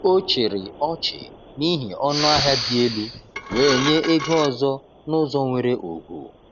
O chịrị ọchị n’ihi ọnụahịa dị elu, wee nye ego ọzọ n’ụzọ nwere ugwu.